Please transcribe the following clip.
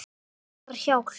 Vantar hjálp.